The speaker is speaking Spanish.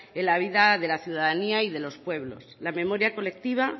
en la vida de la ciudadanía y de los pueblos la memoria colectiva